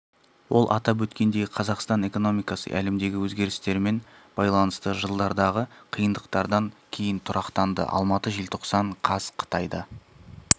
ол атап өткендей қазақстан экономикасы әлемдегі өзгерістермен байланысты жылдардағы қиындықтардан кейін тұрақтанды алматы желтоқсан қаз қытайда